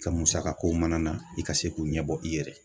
I Ka musakakow mana na i ka se k'u ɲɛbɔ i yɛrɛ ye